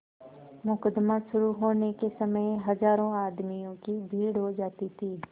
मुकदमा शुरु होने के समय हजारों आदमियों की भीड़ हो जाती थी